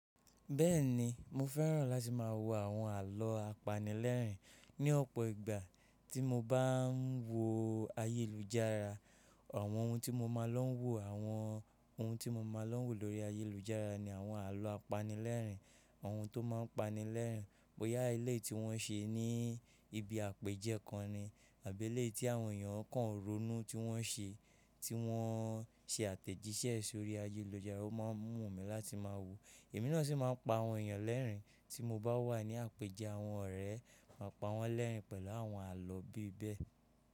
Bẹ́ẹ̀ni, mo fẹ́ràn láti má a wo àwọn àlọ́ apanilẹ́rìn-ín ní ọ̀pọ̀ ìgbà tí mo bá ń wo ayélujára. Àwọn ohun tí mo má a lọ́ wo, àwọn ohun tí mo má a lọ́ wò lórí ayélujára ni àwọn àlọ́ apanilẹ́rìn-ín. Ohun tó má ń pani lẹ́rìn-ín, bóyá ilé tí wọ́n ṣe ní ibi àpèjẹ́ kan ni àbí ilé tí àwọn èèyàn kan ronú tí wọ́n ṣe, tí wọ́n ṣe àtẹ̀jíṣẹ́ sórí ayélujára. Ó má a mú mi láti má a wò. Èmi náà sì má a pa àwọn èèyàn lẹ́rìn-ín tí mo bá wà ní àpèjẹ àwọn ọ̀rẹ́, màá pa wọ́n lẹ́rìn-ín pẹ̀lú àwọn àlọ́ bí bẹ́ẹ̀